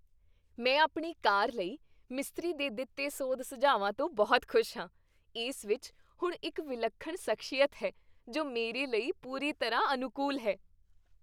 ਮੈਂ ਆਪਣੀ ਕਾਰ ਲਈ ਮਿਸਤਰੀ ਦੇ ਦਿੱਤੇ ਸੋਧ ਸੁਝਾਵਾਂ ਤੋਂ ਬਹੁਤ ਖੁਸ਼ ਹਾਂ। ਇਸ ਵਿੱਚ ਹੁਣ ਇੱਕ ਵਿਲੱਖਣ ਸ਼ਖਸੀਅਤ ਹੈ ਜੋ ਮੇਰੇ ਲਈ ਪੂਰੀ ਤਰ੍ਹਾਂ ਅਨੁਕੂਲ ਹੈ।